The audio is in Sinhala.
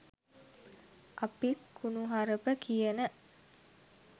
අපිත් කුණුහරප කියන